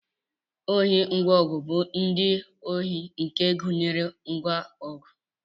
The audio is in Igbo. ohi ngwa ọgụ bụ ụdị ohi nke gụnyere ngwa ọgụ